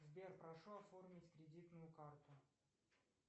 сбер прошу оформить кредитную карту